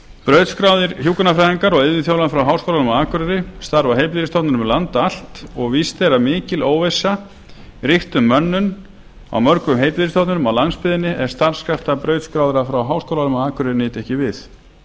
brautskráðir hjúkrunarfræðingar og iðjuþjálfar frá háskólanum á akureyri starfa á heilbrigðisstofnunum um land allt og víst er að mikil óvissa ríkti um mönnun á mörgum heilbrigðisstofnunum á landsbyggðinni ef starfskrafta brautskráðra frá háskólanum á akureyri nyti ekki við